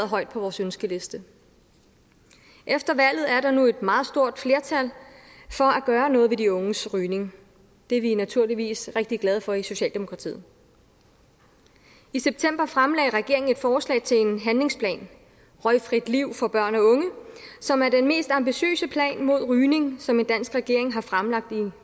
højt på vores ønskeliste efter valget er der nu et meget stort flertal for at gøre noget ved de unges rygning det er vi naturligvis rigtig glade for i socialdemokratiet i september fremlagde regeringen et forslag til en handlingsplan røgfrit liv for børn og unge som er den mest ambitiøse plan mod rygning som en dansk regering har fremlagt i